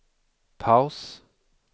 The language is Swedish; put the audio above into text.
paus